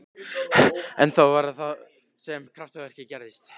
En þá var það sem kraftaverkið gerðist.